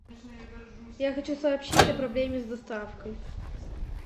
я хочу сообщить о проблеме с доставкой